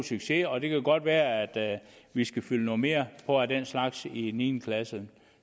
succes og det kan godt være at vi skal fylde noget mere på af den slags i niende klasse